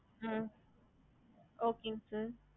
ஹம்